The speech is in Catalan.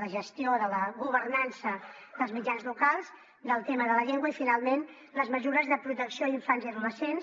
la gestió de la governança dels mitjans locals del tema de la llengua i finalment les mesures de protecció a infants i adolescents